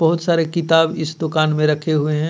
बहुत सारे किताब इस दुकान में रखे हुए हैं.